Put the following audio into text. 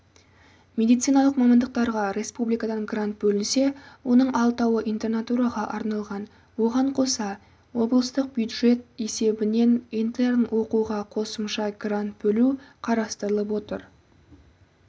медициналық мамандықтарға республикадан грант бөлінсе оның алтауы интернатураға арналған оған қоса облыстық бюджет есебінен интерн оқуға қосымша грант бөлу қарастырылып отыр